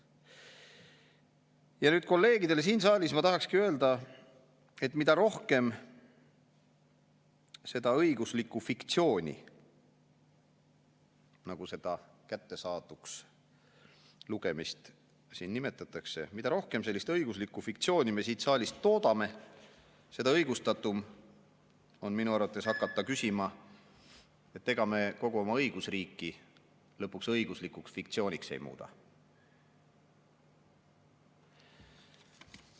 Ja nüüd kolleegidele siin saalis ma tahakski öelda, et mida rohkem seda õiguslikku fiktsiooni, nagu seda kättesaaduks lugemist siin nimetatakse, mida rohkem sellist õiguslikku fiktsiooni me siin saalist toodame, seda õigustatum on minu arvates hakata küsima, ega me kogu oma õigusriiki lõpuks õiguslikuks fiktsiooniks ei muuda.